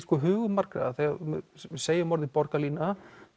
hugum margra að þegar við segjum orðið borgarlína